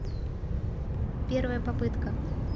первая попытка